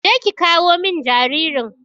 Je ki ƙawo min jaririn.